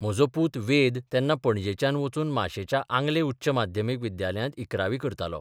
म्हजो पूत वेद तेन्ना पणजेच्यान वचून माशेंच्या आंगले उच्च माध्यमीक विद्यालयांत इकरावी करतालो.